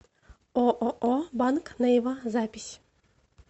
ооо банк нейва запись